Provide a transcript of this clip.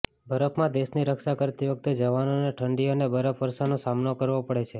બરફમાં દેશની રક્ષા કરતી વખતે જવાનોને ઠંડી અને બરફવર્ષોનો સામનો કરવો પડે છે